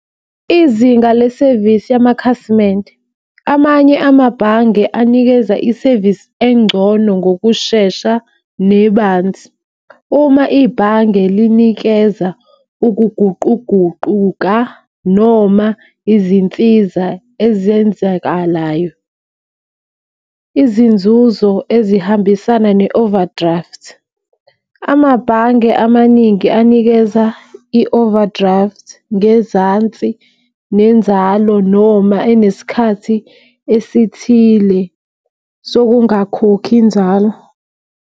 Izinga lesevisi yamakhasimende, amanye amabhange anikeza isevisi engcono ngokushesha nebanzi. Uma ibhange linikeza ukuguquguquka noma izinsiza ezenzekalayo izinzuzo ezihambisana ne-overdraft. Amabhange amaningi anikeza i-overdraft ngezansi nenzalo noma enesikhathi esithile sokungakhokhi inzalo.